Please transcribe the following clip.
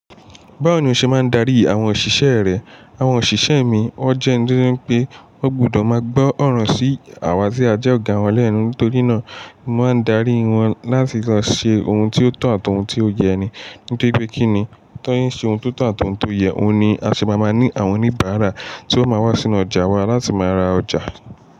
Báwo ni o ṣe máa ń darí àwọn òṣìṣẹ́ rẹ? Àwọn òṣìṣẹ́ mi, wón jẹ́ eńi to je wipé wọ́n gbọdọ̀ máa gbọ́ ọ̀rọ̀ sí àwa tí a jẹ́ ọ̀gá wọn lẹ́nu. Nítorí náà, mo máa ń darí wọn láti lọ ṣe ohun tí ó tọ̀ àti ohun tí ó yẹ ni. Nítorí pé kíni, tan ṣe nse ohun tó tọ̀ àti ohun tó yẹ, òun ni a ṣe máa máa ní àwọn oníbàárà tí ó máa wá sínú ọjà wa láti máa ra ọjà.